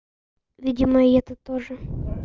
видимо и это тоже